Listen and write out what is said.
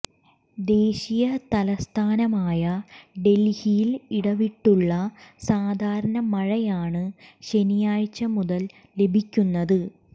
ദേശീയ തലസ്ഥാനമായ ഡൽഹിയിൽ ഇടവിട്ടുള്ള സാധാരണ മഴയാണ് ശനിയാഴ്ച മുതൽ ലഭിക്കുന്നത്